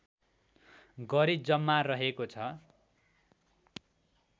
गरी जम्मा रहेको छ